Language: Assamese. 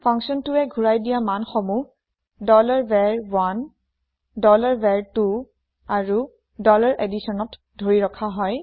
ফাংছনটোৱে ঘোৰাই দিয়া মান সমূহ var1 var2 আৰু additionত ধৰি ৰখা হয়